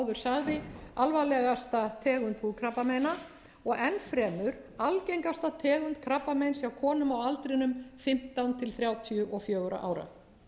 sagði alvarlegasta tegund húðkrabbameina og enn fremur algengasta tegund krabbameins hjá konum á aldrinum fimmtán til þrjátíu og fjögurra ára